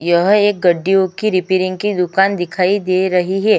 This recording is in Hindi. यह एक गड्डियों की रिपेयरिंग की दुकान दिखाई दे रही है।